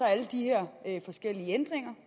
er alle de her forskellige ændringer